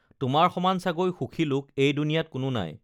তোমাৰ সমান চাগৈ সুখী লোক এই দুনীয়াত কোনো নাই